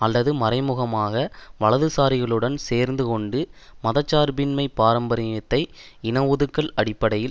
அல்லது மறைமுகமாக வலதுசாரிகளுடன் சேர்ந்து கொண்டு மத சார்பின்மை பாரம்பரியத்தை இன ஒதுக்கல் அடிப்படையில்